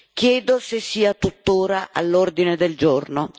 Chiedo se sia tuttora all'ordine del giorno.